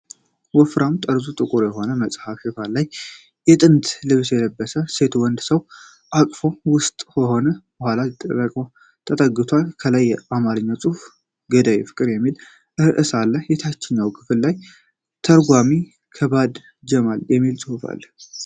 ወፍራም ጠርዙ ጥቁር የሆነ የመጽሐፍ ሽፋን ላይ የጥንት ልብስ የለበሰች ሴት በወንድ ሰው እቅፍ ውስጥ ሆና ወደ ኋላ ተጠግታለች። ከላይ በአማርኛ "ገዳይ ፍቅር" የሚል ርዕስ አለ። የታችኛው ክፍል ላይ "ተርጓሚ አባድር ጀማል" የሚል ጽሑፍ አለው።